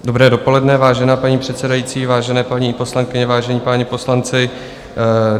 Dobré dopoledne, vážená paní předsedající, vážené paní poslankyně, vážení páni poslanci.